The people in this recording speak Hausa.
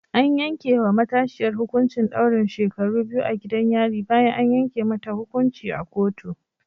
An yanke wa matashiyar hukuncin daurin shekaru biyu a gidan yari bayan an yanke mata hukunci a kotu